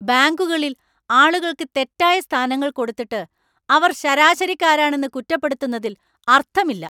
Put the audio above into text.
ബാങ്കുകളിൽ ആളുകൾക്ക് തെറ്റായ സ്ഥാനങ്ങൾ കൊടുത്തിട്ട് അവർ ശരാശരിക്കാരാണെന്ന് കുറ്റപ്പെടുത്തുന്നതില്‍ അര്‍ത്ഥമില്ല.